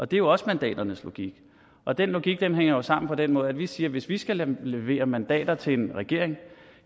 det er jo også mandaternes logik og den logik hænger jo sammen på den måde at vi siger at hvis vi skal levere mandater til en regering